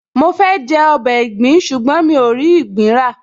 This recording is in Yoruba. Mo fẹ́ jẹ ọbẹ̀ ìgbín ṣùgbọ́n mi ò rí ìgbín rà